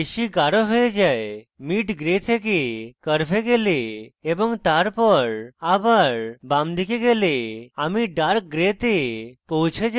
এখন mid gray থেকে curve গেলে এবং তারপর আবার বামদিকে গেলে আমি dark gray তে পৌছে যাই